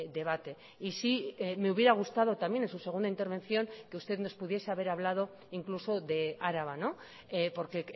debate y sí me hubiera gustado también en su segunda intervención que usted nos pudiese haber hablado incluso de araba porque